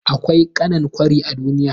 Akwai ƙanan kwari a duniya.